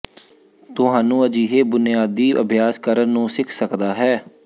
ਤੁਹਾਨੂੰ ਅਜਿਹੇ ਬੁਨਿਆਦੀ ਅਭਿਆਸ ਕਰਨ ਨੂੰ ਸਿੱਖ ਸਕਦਾ ਹੈ